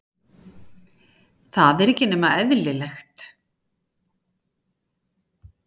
Það er ekki nema eðlilegt.